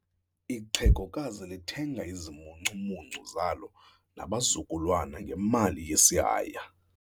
Ixhegokazi lithenga izimuncumuncu zalo nabazukulwana ngemali yesihaya.